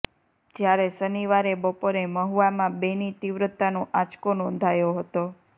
જ્યારે શનિવારે બપોરે મહુવામાં બેની તીવ્રતાનો આંચકો નોંધાયો હતો